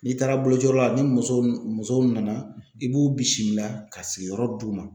N'i taara bolociyɔrɔ la ni muso m muso m nana i b'u bisimila ka sigiyɔrɔ d'u ma.